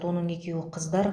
оның екеуі қыздар